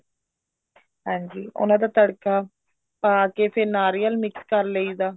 ਹਾਂਜੀ ਉਹਨਾ ਦਾ ਤੜਕਾ ਲਾ ਕੇ ਫ਼ੇਰ ਨਾਰੀਅਲ mix ਕਰ ਲਈਦਾ